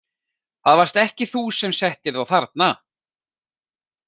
Það varst ekki þú sem settir þá þarna?